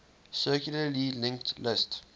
circularly linked list